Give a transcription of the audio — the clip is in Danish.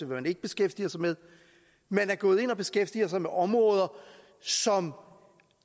man ikke beskæftiger sig med man går ind og beskæftiger sig med områder som